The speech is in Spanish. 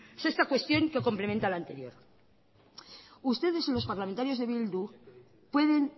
sexta cuestión que complementa la anterior ustedes los parlamentarios de bildu pueden